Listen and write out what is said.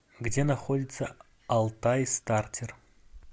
где находится алтайстартер